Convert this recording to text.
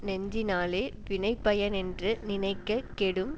நெஞ்சினாலே வினைப்பயனென்று நினைக்க கெடும்